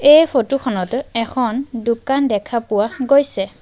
এই ফটো খনত এখন দোকান দেখা পোৱা গৈছে।